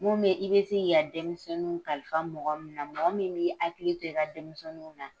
Mun be i be se k'i ka denmisɛnnunw kalifa mɔgɔ min na, mɔgɔ min b'i hakili to i ka denmisɛnninw na.